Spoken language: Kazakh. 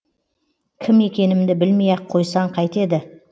кім екенімді білмей ақ қойсаң қайтеді